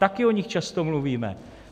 Také o nich často mluvíme.